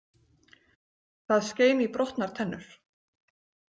Það skein í brotnar tennur.